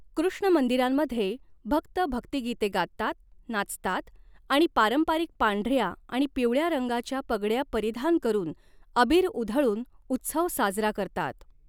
कृष्ण मंदिरांमध्ये भक्त भक्तीगीते गातात, नाचतात आणि आणि पारंपारिक पांढऱ्या आणि पिवळ्या रंगाच्या पगड्या परिधान करून अबीर उधळून उत्सव साजरा करतात.